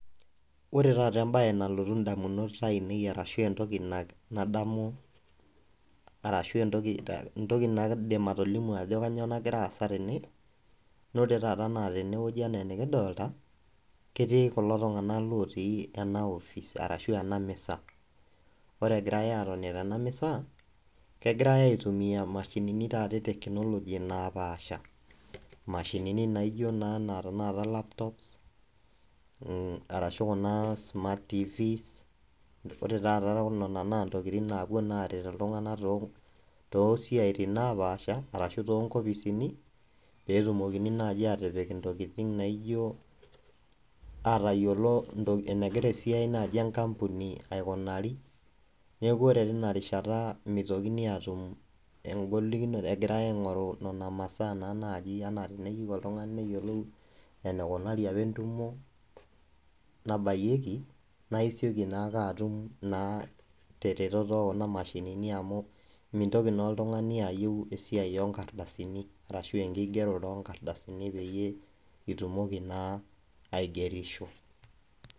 Ore taata ebae nalotu indamunot ainei arashu, ebae nadamu arashu, etoki naidim atolimu ajo kainyioo nagira aasa tene naa ore taata tene wueji enaa enikidolita ketii kulo tunganak otii ena office arashu, ena misa. Ore egirae atoni tena misa kegirae aitumia taata mashinini eteknologi naapasha. Imashinini naijo taata laptop mmh arashu kuna smart tvs. Ore taata nena naa ntokitin napuo naa aret iltunganak too siatin naapasha arashu too nkopisini , peetumokini naaji atipik intokitin naaijo atayiolo enegira naaji esiai enkapuni aikunari, neaku ore tina rishata mitokini atum egolikonoto egirae aingoru nena masaa, enaa naaji teneyieu oltungani neyiolou enekunari apa etumo nabayieki naaisioki naake atum naa teretoto ekuna mashinini amu mitoki naa oltungani ayieu esiai oorkdasini, arashu ekigerore oorkdasini peyie itumoki naa, aigerisho.